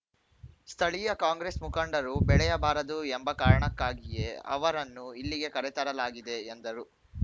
ಸ್ಥಳೀಯ ಕಾಂಗ್ರೆಸ್‌ ಮುಖಂಡರು ಬೆಳೆಯಬಾರದು ಎಂಬ ಕಾರಣಕ್ಕಾಗಿಯೇ ಅವರನ್ನು ಇಲ್ಲಿಗೆ ಕರೆತರಲಾಗಿದೆ ಎಂದರು